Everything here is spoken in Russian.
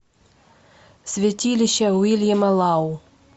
святилище уильяма лау